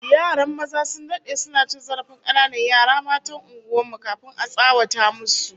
Yaran maza sun dade suna cin zarafin kananan yara matan unguwar mu, kafin a tsawata musu